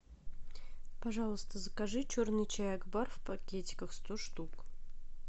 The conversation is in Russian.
пожалуйста закажи черный чай акбар в пакетиках сто штук